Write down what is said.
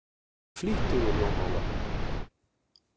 Flýttu þér jón Ólafur!